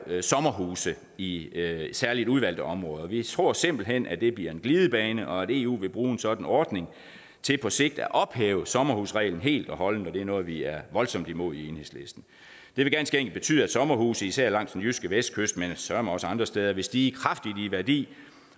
sommerhuse i særligt udvalgte områder vi tror simpelt hen at det bliver en glidebane og at eu vil bruge en sådan ordning til på sigt at ophæve sommerhusreglen helt og holdent og det er noget vi er voldsomt imod i enhedslisten vil ganske enkelt betyde at sommerhuse især langs den jyske vestkyst men søreme også andre steder vil stige kraftigt i værdi